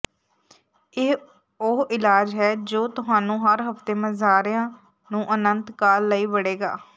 ਇਹ ਉਹ ਇਲਾਜ ਹੈ ਜੋ ਤੁਹਾਨੂੰ ਹਰ ਹਫ਼ਤੇ ਮਜ਼ਾਰਿਆਂ ਨੂੰ ਅਨੰਤ ਕਾਲ ਲਈ ਬੜੇਗਾ